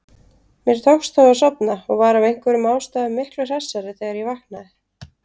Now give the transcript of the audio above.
Mér tókst þó að sofna og var af einhverjum ástæðum miklu hressari þegar ég vaknaði.